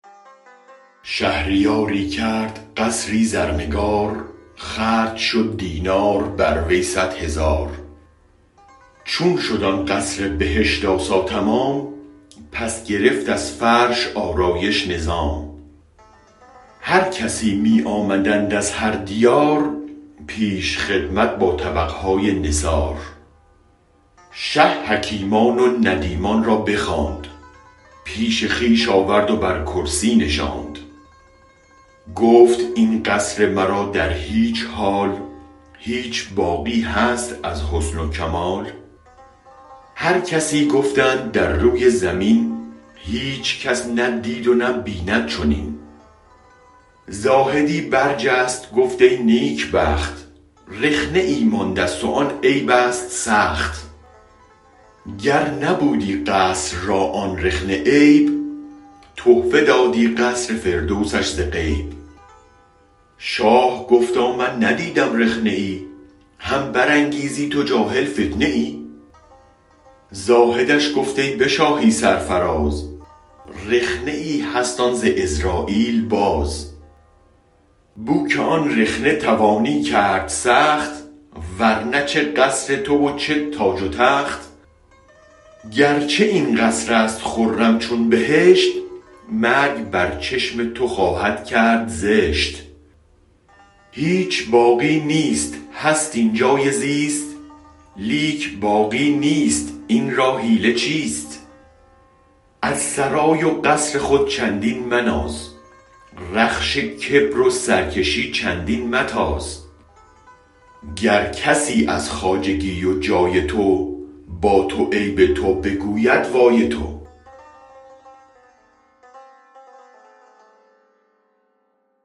شهریاری کرد قصری زرنگار خرج شد دینار بر وی صد هزار چون شد آن قصر بهشت آسا تمام پس گرفت از فرش آرایش نظام هر کسی می آمدند از هر دیار پیش خدمت با طبقهای نثار شه حکیمان و ندیمان را بخواند پیش خویش آورد و بر کرسی نشاند گفت این قصر مرا در هیچ حال هیچ باقی هست از حسن و کمال هر کسی گفتند در روی زمین هیچ کس نه دید و نه بیند چنین زاهدی برجست گفت ای نیک بخت رخنه ای ماندست و آن عیب است سخت گر نبودی قصر را آن رخنه عیب تحفه دادی قصر فردوسش ز غیب شاه گفتا من ندیدم رخنه ای هم برانگیزی تو جاهل فتنه ای زاهدش گفت ای به شاهی سرفراز رخنه ای هست آن ز عزراییل باز بوک آن رخنه توانی کرد سخت ورنه چه قصر تو و چه تاج و تخت گرچه این قصرست خرم چون بهشت مرگ بر چشم تو خواهد کرد زشت هیچ باقی نیست هست اینجای زیست لیک باقی نیست این را حیله چیست از سرای و قصر خود چندین مناز رخش کبر و سرکشی چندین متاز گر کسی از خواجگی و جای تو با تو عیب تو بگوید وای تو